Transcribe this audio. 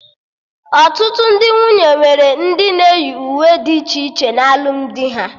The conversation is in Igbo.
Ọtụtụ ndị nwunye nwere ndị na-eyi uwe dị iche iche na alụmdi ha